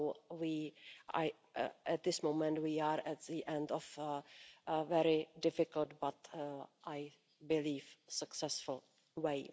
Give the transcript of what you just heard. So at this moment we are at the end of a very difficult but I believe successful road.